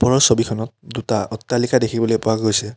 ওপৰৰ ছবিখনত দুটা অট্টালিকা দেখিবলৈ পোৱা গৈছে।